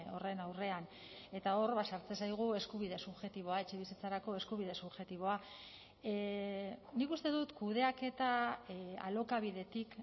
horren aurrean eta hor ba sartzen zaigu eskubide subjektiboa etxebizitzarako eskubide subjektiboa nik uste dut kudeaketa alokabidetik